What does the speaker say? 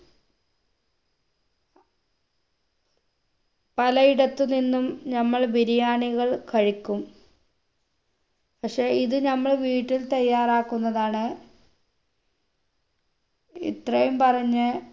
പലയിടത്തു നിന്നും നമ്മൾ ബിരിയാണികൾ കഴിക്കും പക്ഷെ ഇത് നമ്മൾ വീട്ടിൽ തയ്യാറാക്കുന്നതാണ് ഇത്രയും പറഞ്ഞ്